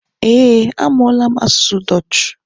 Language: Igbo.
Eh, amụọla m asụsụ dutch